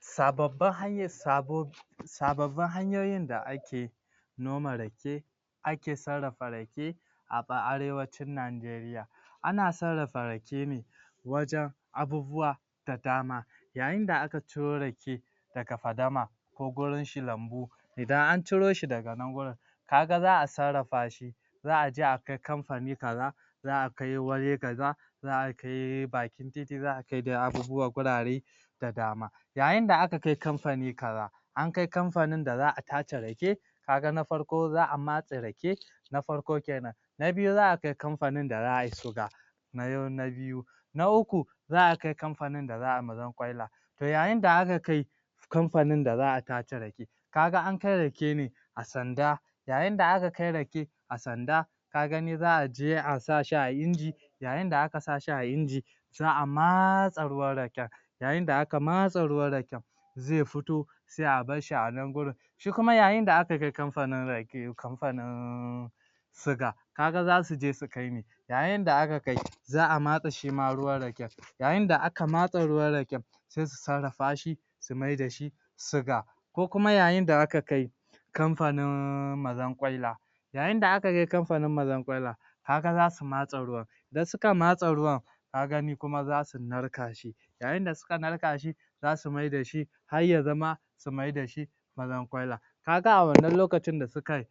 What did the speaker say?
Sababbin Hanyar sabo Sababbin Hanyoyin da Ake Noma Rake Ake Sarrafa Rake a Arewacin Nigaria. Ana sarrafa Rake ne wajen abubuwa da dama yayin da aka ciro Rake daga fadama ko gurin shi Lambu idan an ciro shi daga nan wurin ka ga za a sarrafa shi za a je akai Kamfani kaza za a kai waje kaza za a kai bakin titi za a kai dai abubuwa wurare da dama yayin da aka kai Kamfani kaza an kai Kamfanin da za a tace Rake ka ga na farko za a matse Rake na farko kenan na biyu za a kai Kamfanin da za ai Suga na biyu na uku za a kai Kamfanin da za ai mazarkwaila to yayin da aka kai Kamfanin da za a tace Rake ka ga ankai Rake ne a sanda yayin da aka kai Rake a sanda kaga ni za a je a sa shi a Inji yayin da aka sa shi a Inji za a matse ruwan Raken yayin da aka matse ruwan Raken zai fito sai a barshi a nan wurin shi kuma yayin da aka kai Kamfanin Rake Kamfanin Suga ka ga za su je su kai me? yayin da aka kai za a matse shi ma ruwan Raken yayin da aka matse ruwan Raken sai su sarrafa shi su mai da shi Suga ko kuma yayin da aka kai Kamfanin Mazarkwaila yayin da aka kai Kamfanin Mazarkwaila ka ga za matse ruwan idan suka matse ruwan ka ga ni kuma za su narka shi yayin da suka narka shi za su mai da shi har ya zama su maida shi Mazarkwaila ka ga a wannan lokacin da suka